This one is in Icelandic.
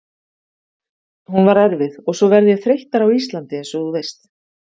Hún var erfið og svo verð ég þreyttari á Íslandi einsog þú veist.